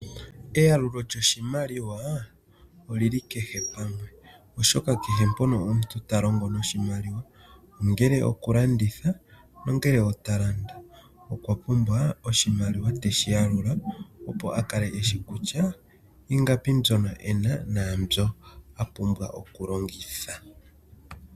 Eyalulo lyoshimaliwa olyili kehe pamwe oshoka kehe mpono omuntu ta longo noshimaliwa ongele talanditha nongele ota landa ota pumbwa oshimaliwa tashiyalulwa opo a kale eshi kutya ingapi mbono ena nenge a pumbwa okulongitha.